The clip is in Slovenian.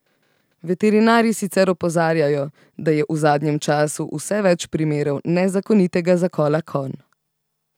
Veterinarji sicer opozarjajo, da je v zadnjem času vse več primerov nezakonitega zakola konj.